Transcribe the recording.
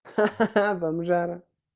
ха-ха бомжара